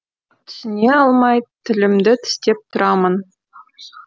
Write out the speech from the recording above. түсіне алмай тілімді тістеп тұрамын